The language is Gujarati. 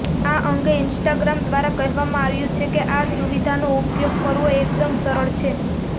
આ અંગે ઇન્સ્ટાગ્રામ દ્વારા કહેવામાં આવ્યું છે કે આ સુવિધાનો ઉપયોગ કરવો એકદમ સરળ છે